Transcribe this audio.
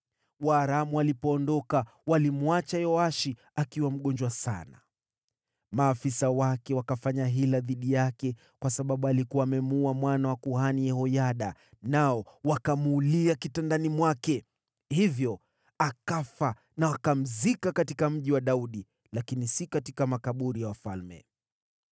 Waaramu walipoondoka, walimwacha Yoashi akiwa mgonjwa sana. Maafisa wake wakafanya hila dhidi yake kwa sababu alikuwa amemuua mwana wa Kuhani Yehoyada, nao wakamuulia kitandani mwake. Hivyo akafa na wakamzika katika Mji wa Daudi, lakini si katika makaburi ya wafalme.